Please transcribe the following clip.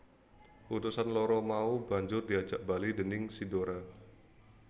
Utusan loro mau banjur diajak bali déning si Dora